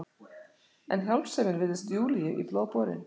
En hjálpsemin virðist Júlíu í blóð borin.